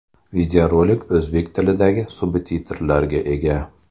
Videorolik o‘zbek tilidagi subtitrlarga ega.